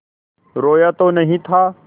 रोया तो नहीं था